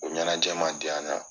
O ɲɛnajɛjɛ man diya an na.